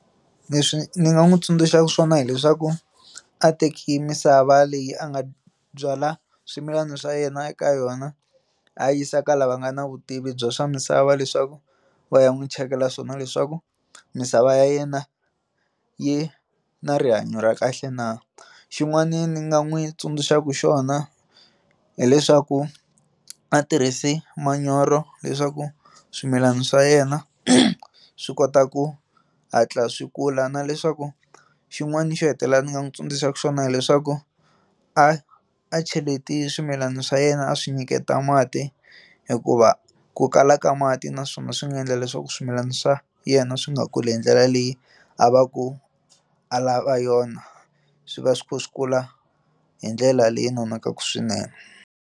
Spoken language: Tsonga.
Leswi ndzi nga n'wi tsundzuxaka swona hileswaku a teki misava leyi a nga byala swimilana swa yena eka yona a yisa kala va nga na vutivi bya swa misava leswaku va ya n'wi chekela swona leswaku misava ya yena yi na rihanyo ra kahle na xin'wana ndzi nga n'wi tsundzuxaka xona hileswaku a tirhisi manyoro leswaku swimilana swa yena swi kota ku hatla swi kula na leswaku xin'wana xo hetelela ndzi nga n'wi tsundzuxa xona hileswaku a a cheleti swimilana swa yena a swi nyiketa mati hikuva ku kala ka mati naswona swi nga endla leswaku swimilana swa yena swi nga kuli hi ndlela leyi a va ku a lava yona swi va swi kha swi kula hi ndlela leyi nonakaka swinene.